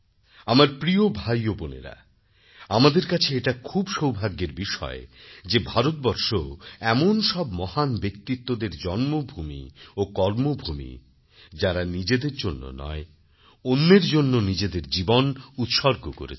আমার প্রিয় ভাই ও বোনেরা আমাদের কাছে এটা খুব সৌভাগ্যের বিষয় যে ভারতবর্ষ এমন সব মহান ব্যক্তিত্বদের জন্মভুমি ও কর্মভূমি যাঁরা নিজেদের জন্য নয় অন্যের জন্য নিজেদের জীবন উৎসর্গ করেছেন